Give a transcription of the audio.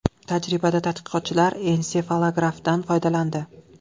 Tajribada tadqiqotchilar ensefalografdan foydalandi.